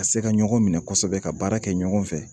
Ka se ka ɲɔgɔn minɛ kosɛbɛ ka baara kɛ ɲɔgɔn fɛ